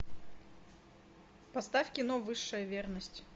поставь кино высшая верность